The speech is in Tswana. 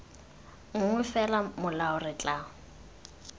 nngwe fela molao re tla